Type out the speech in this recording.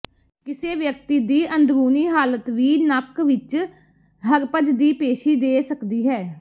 ਕਿਸੇ ਵਿਅਕਤੀ ਦੀ ਅੰਦਰੂਨੀ ਹਾਲਤ ਵੀ ਨੱਕ ਵਿੱਚ ਹਰਪਜ ਦੀ ਪੇਸ਼ੀ ਦੇ ਸਕਦੀ ਹੈ